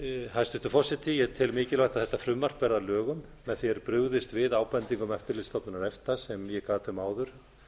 hæstvirtur forseti ég tel mikilvægt að þetta frumvarp verði að lögum með því er brugðist við ábendingum eftirlitsstofnunar efta sem ég gat um áður